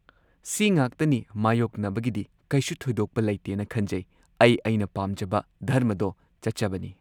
ꯁꯤꯉꯥꯛꯇꯅꯤ ꯃꯥꯌꯣꯛꯅꯕꯒꯤꯗꯤ ꯀꯩꯁꯨ ꯊꯣꯏꯗꯣꯛꯄ ꯂꯩꯇꯦꯅ ꯈꯟꯖꯩ ꯑꯩ ꯑꯩꯅ ꯄꯥꯝꯖꯕ ꯙꯔꯃꯗꯣ ꯆꯠꯆꯕꯅꯤ